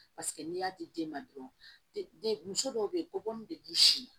Paseke n'i y'a di den ma dɔrɔn muso dɔw bɛ yen ko bɔnni de b'i sin